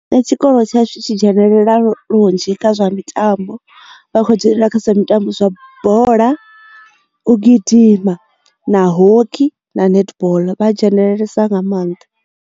Nṋe tshikolo tsha shu tshi dzhenelela lunzhi kha zwa mitambo vha kho dzhenelela kha zwa mitambo zwa bola u gidima na hockey na netball vha dzhenelelesa nga maanḓa.